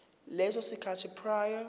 leso sikhathi prior